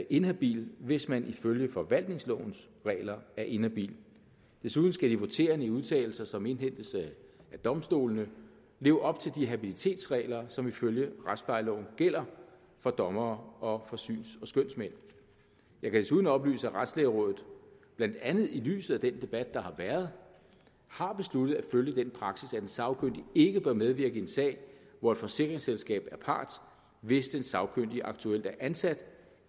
inhabil hvis man ifølge forvaltningslovens regler er inhabil desuden skal de voterende i udtalelser som indhentes af domstolene leve op til de habilitetsregler som ifølge retsplejeloven gælder for dommere og for syns og skønsmænd jeg kan desuden oplyse at retslægerådet blandt andet i lyset af den debat der har været har besluttet at følge den praksis at en sagkyndig ikke bør medvirke i en sag hvor et forsikringsselskab er part hvis den sagkyndige aktuelt er ansat